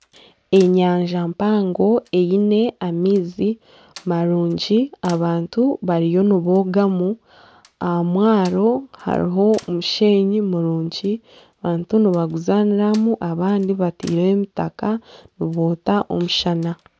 Enyanja mpango eine amaizi marungi abantu bariyo nibogamu aha mwaaro hariho omusheenyi murungi abantu nibaguzaaniramu abandi bateireho emitaka niboota omushana.